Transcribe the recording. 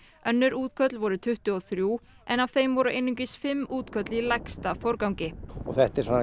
önnur útköll voru tuttugu og þrjú en af þeim voru einungis fimm útköll í lægsta forgangi það